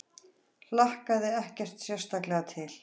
Hlakkaði ekkert sérstaklega til.